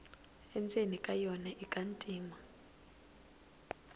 endzeni ka yona ika ntima